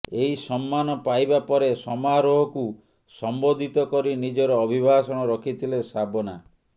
ଏହି ସମ୍ମାନ ପାଇବା ପରେ ସମାରୋହକୁ ସମ୍ବୋଧିତ କରି ନିଜର ଅଭିଭାଷଣ ରଖିଥିଲେ ଶାବନା